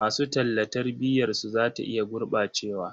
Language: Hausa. Masu talla tarbiyarsu za ta iya gurɓacewa.